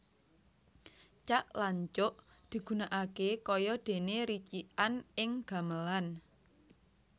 Cak lan cuk digunakaké kaya déné ricikan ing gamelan